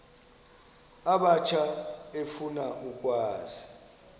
abatsha efuna ukwazi